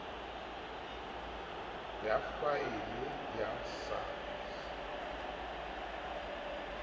ya faele ya sars eo